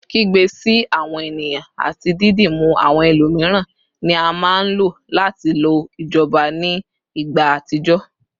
Kigbe si awọn eniyan ati didimu awọn ẹlomiran ni a maa n lo lati lo ijọba ni igba atijọ